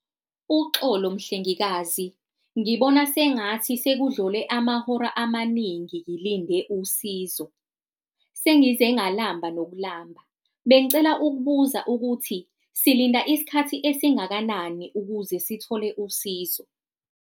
Uxolo mhlengikazi, ngibona sengathi sekudlule amahora amaningi ngilinde usizo, sengize ngalamba nokulamba. Bengicela ukubuza ukuthi silinda isikhathi esingakanani ukuze sithole usizo.